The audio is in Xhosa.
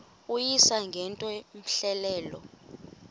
uyise ngento cmehleleyo